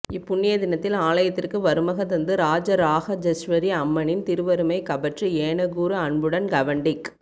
இப்புண்ணிய தினத்தில் ஆலயத்திற்கு வருமக தந்து ராஜ ராகஜஸ்வாி அம்ைனின் திருவருமை கபற்று ஏகுைாறு அன்புடன் கவண்டிக்